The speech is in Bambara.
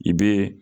I bɛ